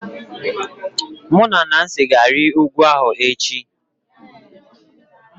Mụ na Nancy ga-arịgo ugwu echi